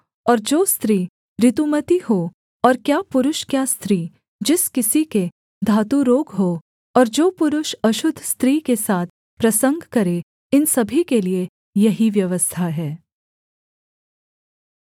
और जो स्त्री ऋतुमती हो और क्या पुरुष क्या स्त्री जिस किसी के धातुरोग हो और जो पुरुष अशुद्ध स्त्री के साथ प्रसंग करे इन सभी के लिये यही व्यवस्था है